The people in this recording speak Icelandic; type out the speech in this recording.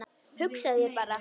Hugsaðu þér bara!